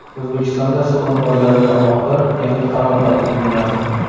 O‘zbekistonda suv omborlariga aloqador yangi qaror qabul qilinadi.